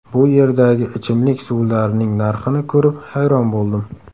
Bu yerdagi ichimlik suvlarining narxini ko‘rib, hayron bo‘ldim.